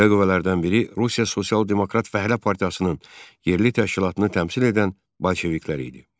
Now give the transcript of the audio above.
Belə qüvvələrdən biri Rusiya Sosial-Demokrat Fəhlə Partiyasının yerli təşkilatını təmsil edən bolşeviklər idi.